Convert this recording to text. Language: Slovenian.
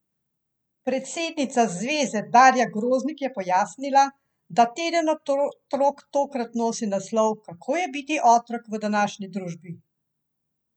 Si bo upala v volilnem letu javnost razburjati s to kočljivo temo, ki je volivci gotovo ne bodo nagradili?